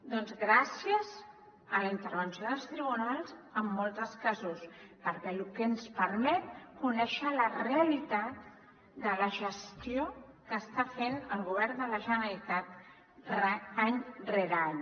doncs gràcies a la intervenció dels tribunals en molts dels casos perquè ens permet conèixer la realitat de la gestió que està fent el govern de la generalitat any rere any